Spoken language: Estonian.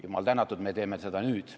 Jumal tänatud, me teeme seda nüüd.